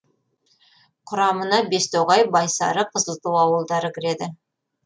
құрамына бестоғай байсары қызылту ауылдары кіреді